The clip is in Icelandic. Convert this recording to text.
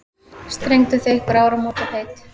Strengduð þið einhver áramótaheit?